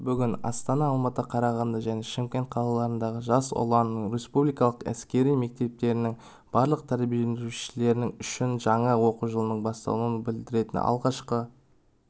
бүгін астана алматы қарағанды және шымкент қалаларындағы жас ұлан республикалық әскери мектептерінің барлық тәрбиеленушілері үшін жаңа оқу жылының басталуын білдіретін алғашқы